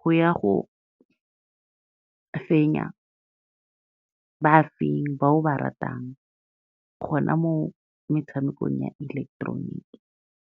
go ya go fenya bafenyi ba o ba ratang, gona mo metshamekong ya ileketeroniki.